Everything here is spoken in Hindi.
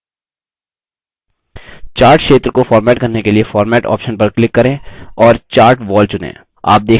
chart क्षेत्र को format करने के लिए format option पर click करें और chart wall चुनें